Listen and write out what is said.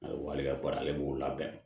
Wa hali ka baara ale b'o labɛn